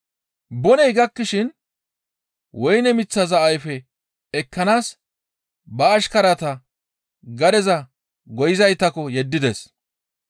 Boney gakkishin woyne miththaza ayfe ekkanaas ba ashkarata gadeza goyizaytakko yeddides.